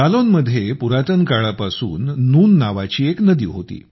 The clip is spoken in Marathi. जालौनमध्ये पुरातन काळापासून नून नावाची एक नदी होती